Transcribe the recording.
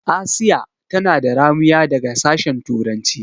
Asiya tana da ramuya daga sashen turanci.